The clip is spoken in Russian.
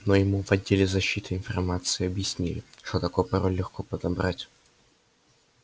но ему в отделе защиты информации объяснили что такой пароль легко подобрать